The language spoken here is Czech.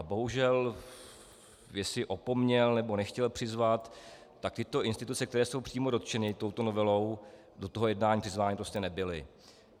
A bohužel jestli opomněl, nebo nechtěl přizvat, tak tyto instituce, které jsou přímo dotčeny touto novelou, do toho jednání přizvány prostě nebyly.